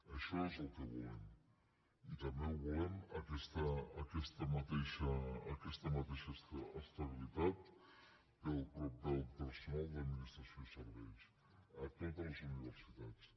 això és el que volem i també volem aquesta mateixa estabilitat per al personal d’administració i serveis a totes les universitats